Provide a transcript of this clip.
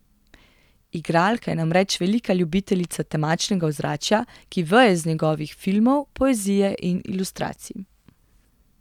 Igralka je namreč velika ljubiteljica temačnega ozračja, ki veje iz njegovih filmov, poezije in ilustracij.